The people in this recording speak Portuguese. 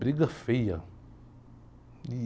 Briga feia.